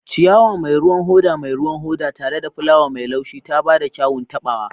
Ciyawa mai ruwan hoda mai ruwan hoda, tare da fulawa mai laushi, ta ba da kyawun taɓawa.